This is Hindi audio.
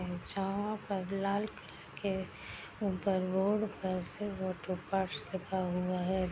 लाल किला के ऊपर बोर्ड पर से ऑटो पार्ट्स लिखा हुआ है।